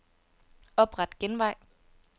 Opret genvej.